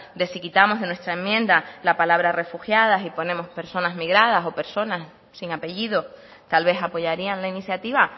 de si quitamos de nuestra enmienda la palabra refugiadas y ponemos la ponemos personas migradas o personas sin apellido tal vez apoyarían la iniciativa